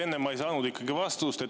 Jah, enne ma ei saanud ikkagi vastust.